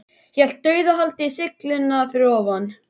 Hélt dauðahaldi í sylluna fyrir ofan.